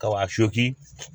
Kaba fiyɛ